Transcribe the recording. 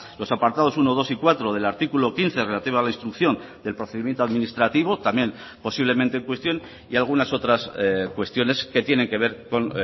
los apartados uno dos y cuatro del artículo quince relativa a la instrucción del procedimiento administrativo también posiblemente en cuestión y algunas otras cuestiones que tienen que ver con